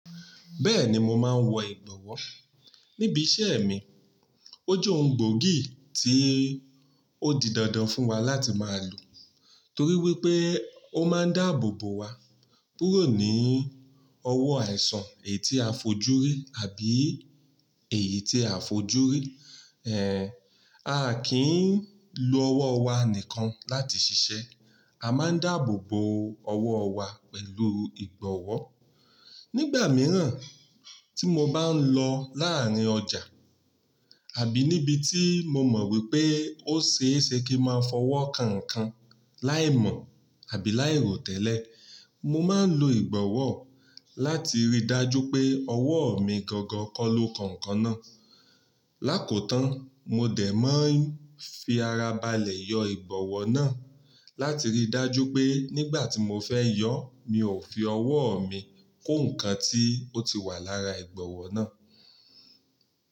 Bẹ́ẹ̀ni mo máa ń wọ ìgbọ̀wọ́ níbi iṣẹ́ mi. Ó jẹ́ ohun gbóògì tí ó di dandan fún wa láti máa lò torí wípé ó máa ń dáàbò bo wa kúrò ní ọwọ́ àìsàn èyí tí a fojú rí àbí èyí tí a fojú rí. Ehn, a kì í lo ọwọ́ wa nìkan láti ṣiṣẹ́. A máa ń dáàbò bo ọwọ́ wa pẹ̀lú ìgbọ̀wọ́. Nígbà mìíràn tí mo bá ń lọ láàárín ọjà àbí níbi tí mo mọ̀ wípé ó ṣe é ṣe kí máa fọwọ́ kankan láìmọ̀ àbí láì rò tẹ́lẹ̀, mo máa ń lo ìgbọ̀wọ́ láti rí i dájú pé ọwọ́ mi gangan kọ ló kan nkan náà. Lákoòótán mo dẹ̀ máa ń fi ara balẹ̀ yọ ìgbọ̀wọ́ náà láti rí i dájú pé nígbà tí mo fẹ́ yọ̀ mi ò fi ọwọ́ mi kó ǹkan tí ó ti wà lára ìgbọ̀wọ́ náà.